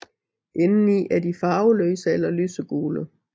Indeni er de farveløse eller lysegule